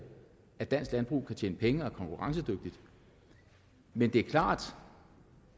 at dansk landbrug kan tjene penge og være konkurrencedygtigt men det er klart